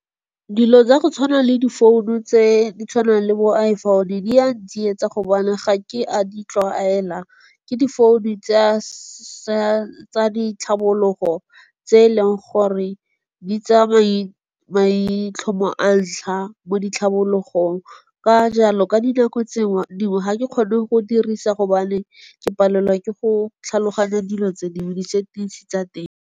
Dilo tsa go tshwana le di founu tse di tshwanang le bo iPhone, di a ntsietsa go bane ga ke a di tlwaela. Ke di founu tsa ditlhabologo tse eleng gore di tsaya maitlhomo a ntlha mo ditlhabologong. Ka jalo ka dinako tse dingwe ga ke kgone go dirisa gobane ke palelwa ke go tlhaloganya dilo tse dingwe, di-settings-e tsa teng.